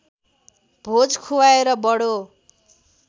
भोज खुवाएर बडो